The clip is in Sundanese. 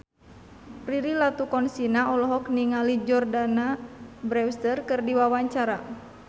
Prilly Latuconsina olohok ningali Jordana Brewster keur diwawancara